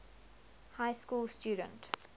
high school student